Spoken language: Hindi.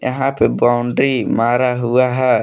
यहां बाउंड्री मारा हुआ है।